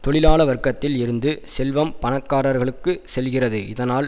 தொழிலாள வர்க்கத்தில் இருந்து செல்வம் பணக்காரர்களுக்கு செல்கிறது இதனால்